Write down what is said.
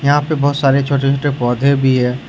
यहां पे बहोत सारे छोटे छोटे पौधे भी हैं।